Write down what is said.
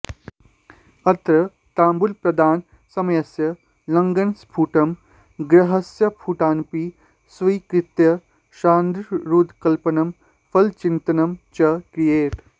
अत्र ताम्बूलप्रदानसमयस्य लग्नस्फुटं ग्रहस्फुटानपि स्वीकृत्य षडारूढकल्पनं फलचिन्तनं च क्रियते